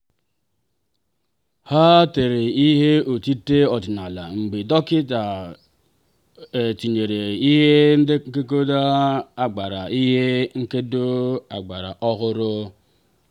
ha tere ihe otite ọdịnala mgbe dọkịta tinyechara ihe nkedo ọgbara ihe nkedo ọgbara ọhụrụ.